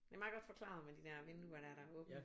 Det meget godt forklaret med de der vinduer der der er åbne